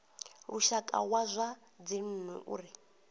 lushaka wa zwa dzinnu uri